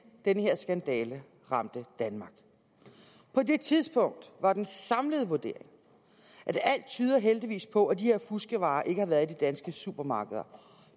den her skandale ramte danmark på det tidspunkt var den samlede vurdering at alt tyder heldigvis på at de her fuskevarer ikke har været i danske supermarkeder